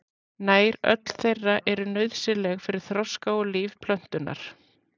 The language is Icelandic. Nær öll þeirra eru nauðsynleg fyrir þroska og líf plöntunnar.